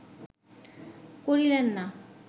করিলেন না